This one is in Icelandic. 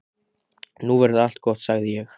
Nú verður allt gott, sagði ég.